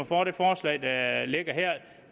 for det forslag